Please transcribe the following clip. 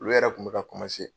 Olu yɛrɛ kun bɛ ka